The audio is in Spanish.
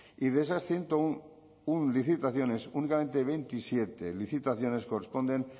y de esas ciento uno licitaciones únicamente veintisiete licitaciones corresponden